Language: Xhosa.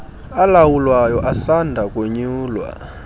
alawulayo asanda konyulwa